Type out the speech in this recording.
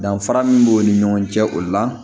Danfara min b'u ni ɲɔgɔn cɛ o la